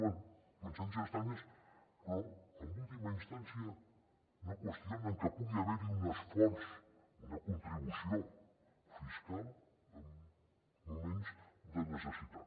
bé coincidències estranyes però en última instància no qüestionen que pugui haverhi un esforç una contribució fiscal en moments de necessitat